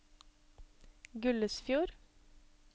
Gullesfjord